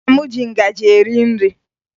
Nna m ji ngaji eri nri